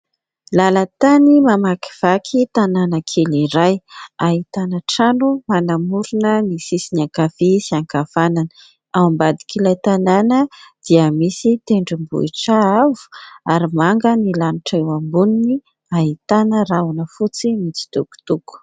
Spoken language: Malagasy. Lalan-tany mamakivaky tanàna kely iray. Ahitana trano manamorona ny sisiny ankavia sy ankavanana. Ao ambadik'ilay tanàna dia misy tendrombohitra avo ary manga ny lanitra eo amboniny, ahitana rahona fotsy mitsitokotoko.